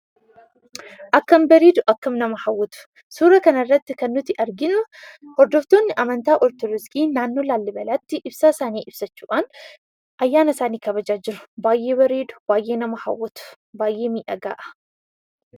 Akkam bareedu! Akkam nama hawwatu! Suuraa kana irratti kan nuti arginu hordoftoonni amantaa Ortodoksii naannoo Laallibaalaatti ibsaasaanii ibsachuudhaan, ayyaana isaanii kabajaa jiru. Baay'ee bareedu. Baay'ee nama hawwatu. Baay'ee miidhagaa dha.